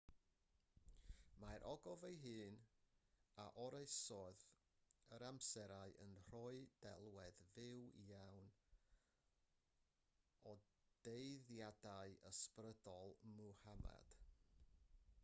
mae'r ogof ei hun a oroesodd yr amserau yn rhoi delwedd fyw iawn o dueddiadau ysbrydol muhammad